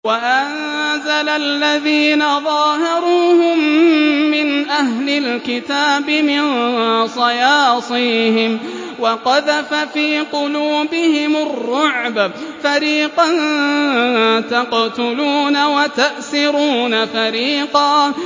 وَأَنزَلَ الَّذِينَ ظَاهَرُوهُم مِّنْ أَهْلِ الْكِتَابِ مِن صَيَاصِيهِمْ وَقَذَفَ فِي قُلُوبِهِمُ الرُّعْبَ فَرِيقًا تَقْتُلُونَ وَتَأْسِرُونَ فَرِيقًا